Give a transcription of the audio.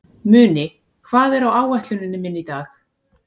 Muni, hvað er á áætluninni minni í dag?